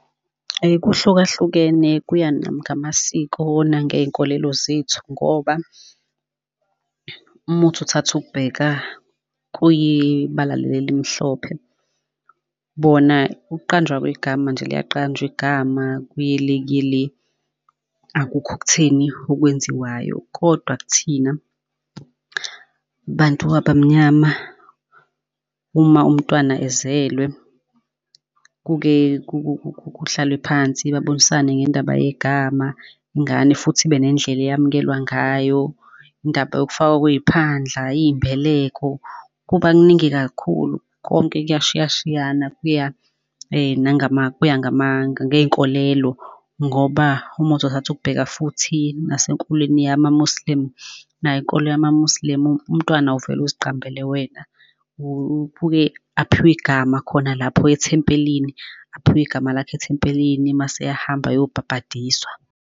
kuhlukahlukene kuya ngamasiko nangey'nkolelo zethu ngoba, uma uthi uthatha ukubheka kuyibala leli elimhlophe bona kuqanjwa kwegama nje liyaqanjwa igama kuye le kuye le. Akukho okutheni okwenziwayo, kodwa kuthina bantu abamnyama uma umntwana ezelwe, kuke kuhlalwe phansi, babonisane ngendaba yegama ingane futhi ibe nendlela eyamukelwa ngayo. Indaba yokufakwa kwey'phandla, iy'mbeleko, kuba kuningi kakhulu konke kuyashiya shiyana kuya kuya ngey'nkolelo ngoba uma uthi uthatha ukubheka futhi nasenkolweni yama-muslim nayo inkolo yama-muslim, umntwana awuvele uziqambele wena, ubuye aphiwe igama khona lapho ethempelini, aphiwe igama lakhe ethempelini mase eyahamba eyobhabhadiswa.